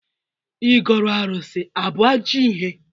Igọrụ arụsị abụ ajọ ihe?